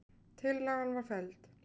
Tillagan var felld.